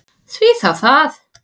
Því þá það?